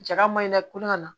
Jaga maɲinɛ ko ka na